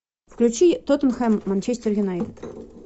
включи тоттенхэм манчестер юнайтед